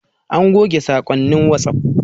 An goge saƙonnin wasuf